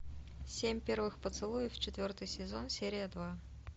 семь первый поцелуев четвертый сезон серия два